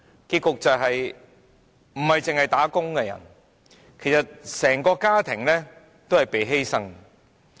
結果，不單是"打工"的人，其實整個家庭也被犧牲。